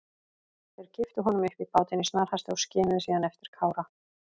Þeir kipptu honum upp í bátinn í snarhasti og skimuðu síðan eftir Kára.